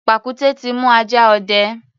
Pàkúté ti mú ajá ọdẹ.